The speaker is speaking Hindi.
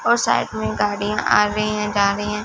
और साइड में गाड़ियां आ रही हैं जा रही हैं।